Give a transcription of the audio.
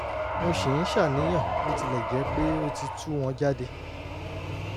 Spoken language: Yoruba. mo ṣì ń ṣàníyàn bó tilẹ̀ jẹ́ pé ó ti tu wọ́n jáde